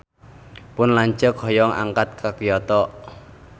Pun lanceuk hoyong angkat ka Kyoto